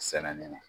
Sɛnɛ ni